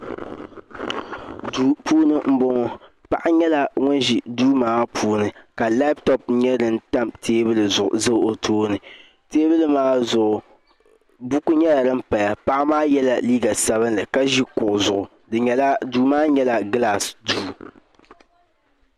Duu puuni n boŋo paɣa nyɛla ŋun ʒi duu maa puuni ka labtop nim tam teebuli zuɣu o tooni teebuli maa zuɣu buku nyɛla din paya paɣa maa yɛla liiga sabinli ka ʒi kuɣu zuɣu duu maa nyɛla gilaas duu